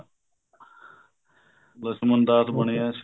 ਲਛਮਣ ਦਾਸ ਬਣਿਆ ਸੀ